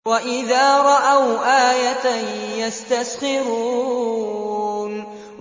وَإِذَا رَأَوْا آيَةً يَسْتَسْخِرُونَ